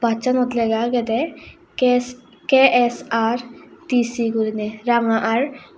basanot lega agedey kest K_S_R_T_C gurine ranga r.